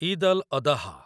Eid al Adha